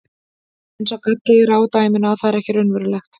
En sá galli er á dæminu að það er ekki raunverulegt.